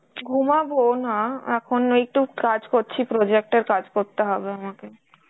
ঘুমাবো না, এখন ওই একটু কাজ করছি, project এর কাজ করতে হবে আমাকে.